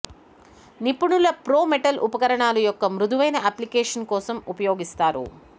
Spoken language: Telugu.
నిపుణుల ప్రో మెటల్ ఉపకరణాలు యొక్క మృదువైన అప్లికేషన్ కోసం ఉపయోగిస్తారు